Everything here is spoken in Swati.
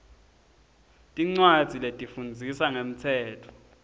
tincwadzi letifundzisa ngemtsetfo